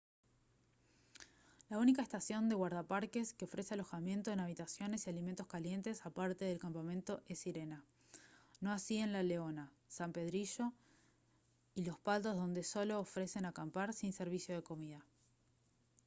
la única estación de guardaparques que ofrece alojamiento en habitaciones y alimentos calientes aparte del campamento es sirena no así en la leona san pedrillo y los patos donde solo ofrecen acampar sin servicio de comida